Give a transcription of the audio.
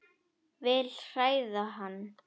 Vil hræða hann.